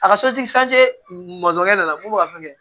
A ka sotigi nana mun ka fɛn kɛ